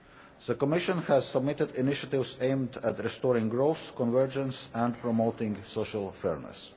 The Commission has submitted initiatives aimed at restoring growth, improving convergence and promoting social fairness.